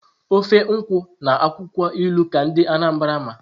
ofe nkwụ na akwụkwọ ilu ka ndị Anambra ma.